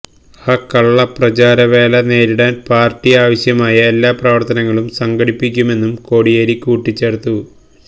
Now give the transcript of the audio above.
ആ കള്ള പ്രചാരവേല നേരിടാൻ പാർട്ടി ആവശ്യമായ എല്ലാ പ്രവർത്തനങ്ങളും സംഘടിപ്പിക്കുമെന്നും കോടിയേരി കൂട്ടിച്ചേർത്തു